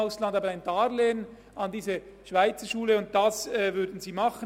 Ein Darlehen aber würde sie geben.